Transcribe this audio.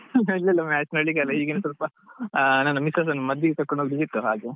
ಇಲ್ಲ ಇಲ್ಲ match ನೋಡ್ಲಿಕ್ಕೆ ಅಲ್ಲ ಹೀಗೆ ಸ್ವಲ್ಪ ಅಹ್ ನನ್ನ misses ನ್ನು ಮದ್ದಿಗೆ ಕರ್ಕೊಂಡ್ ಹೋಗ್ಲಿಕ್ಕೆ ಇತ್ತು ಹಾಗೆ.